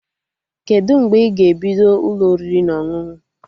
Kedụ mgbe ị ga-ebido Ụlọ oriri na ọṅụṅụ?